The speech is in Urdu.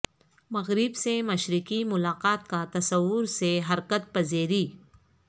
مغرب سے مشرقی ملاقات کا تصور سے حرکت پذیری